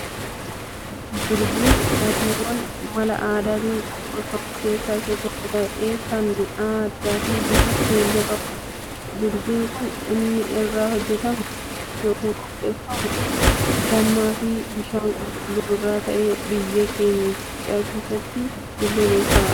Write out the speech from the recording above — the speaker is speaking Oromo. Birziin dhugaatiiwwaan mala aadaatin qopheeffamu keessaa isa tokko ta'ee kan mi'aa addaa fii bifa keelloo qabudha. Birziin kan inni irraa hojjetamu ykn qopheeffamu dammaa fii bishaan qulqulluu irraa ta'ee biyya keenya Itoophiyaa keessatti illee beekamaadha.